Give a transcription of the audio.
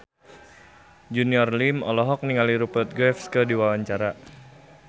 Junior Liem olohok ningali Rupert Graves keur diwawancara